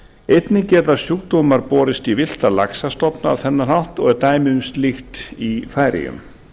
einnig geta sjúkdómar borist í villta laxastofna á þennan hátt og er dæmi um slíkt í færeyjum